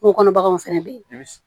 Kungo kɔnɔ baganw fɛnɛ be yen